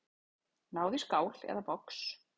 Náðu í skál eða box.